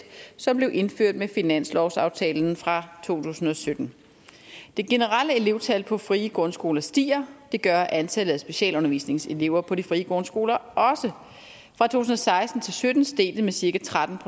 som blev indført med finanslovsaftalen fra to tusind og sytten det generelle elevtal på de frie grundskoler stiger det gør antallet af specialundervisningselever på de frie grundskoler fra to tusind og seksten til sytten steg det med cirka tretten